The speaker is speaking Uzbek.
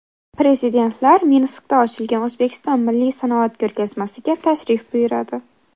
Prezidentlar Minskda ochilgan O‘zbekiston milliy sanoat ko‘rgazmasiga tashrif buyuradi.